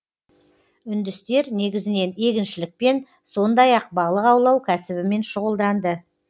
үндістер негізінен егіншілікпен сондай ақ балық аулау кәсібімен шұғылданды